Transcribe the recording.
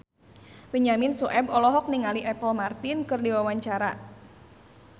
Benyamin Sueb olohok ningali Apple Martin keur diwawancara